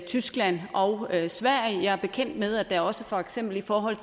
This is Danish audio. tyskland og sverige jeg er bekendt med at der også for eksempel i forhold